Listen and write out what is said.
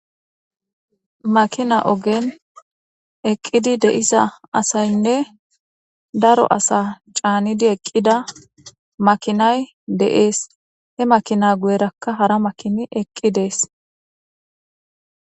Makina ogen eqqidi de'iza asaynne daro asa caanidi eqqida makinay de'es. He makina guyerakka hara makini eqqides.